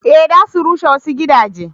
eh za su rushe wasu gidaje